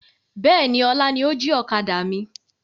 Bẹ́ẹ̀ni, ọlá ni ó jí ọ̀kadà mi.